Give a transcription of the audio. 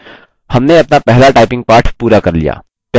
हमने अपना पहला typing पाठ पूरा कर लिया